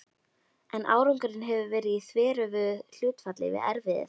En árangurinn hefur verið í þveröfugu hlutfalli við erfiðið.